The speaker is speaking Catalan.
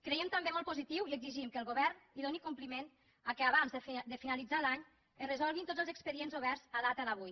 creiem també molt positiu i exigim que el govern hi doni compliment que abans de finalitzar l’any es resolguin tots els expedients oberts a data d’avui